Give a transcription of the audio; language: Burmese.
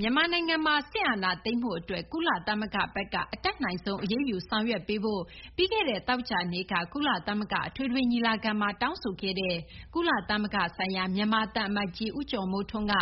မြန်မာနိုင်ငံမှာ စစ်အာဏာသိမ်းမှု အတွက် ကုလသမဂ္ဂ ဘက်က အတတ်နိုင်ဆုံး အရေးယူ ဆောင်ရွက်ပေးဖို့ ပြီးခဲ့တဲ့ သောကြာနေ့က ကုလသမဂ္ဂ အထွေထွေ ညီလာခံမှာ တောင်းဆိုခဲ့တဲ့ ကုလသမဂ္ဂ ဆိုင်ရာ မြန်မာ သံအမတ်ကြီး ဦးကျော်မိုးထွန်းက